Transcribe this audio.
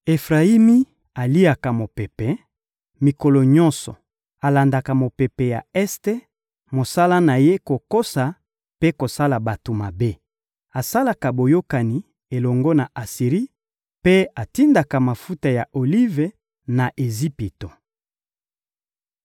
Efrayimi aliaka mopepe; mikolo nyonso, alandaka mopepe ya este; mosala na ye kokosa mpe kosala bato mabe. Asalaka boyokani elongo na Asiri mpe atindaka mafuta ya olive na Ejipito.